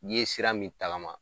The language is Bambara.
N'i ye sira min tagama